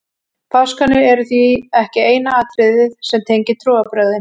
páskarnir eru því ekki eina atriðið sem tengir trúarbrögðin